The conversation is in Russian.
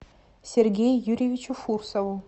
сергею юрьевичу фурсову